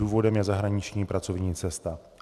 Důvodem je zahraniční pracovní cesta.